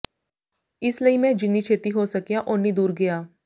ਇਸ ਲਈ ਮੈਂ ਜਿੰਨੀ ਛੇਤੀ ਹੋ ਸਕਿਆ ਓਨੀ ਦੂਰ ਗਿਆ